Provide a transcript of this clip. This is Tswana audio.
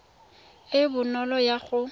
e e bonolo ya go